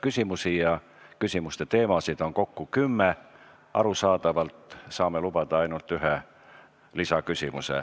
Küsimusi ja küsimuste teemasid on kokku kümme, arusaadavalt saan igaühe puhul lubada ainult ühe lisaküsimuse.